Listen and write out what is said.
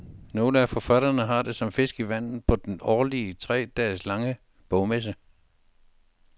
Nogle af forfatterne har det som fisk i vandet på den årlige, tre dage lange bogmesse.